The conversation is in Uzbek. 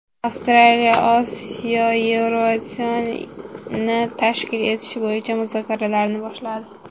Avstraliya Osiyo Eurovision’ini tashkil etish bo‘yicha muzokaralarni boshladi .